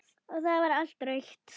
Og það var allt rautt.